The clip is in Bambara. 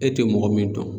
E tɛ mɔgɔ min dɔn